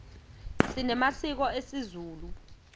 sinemasiko esizulu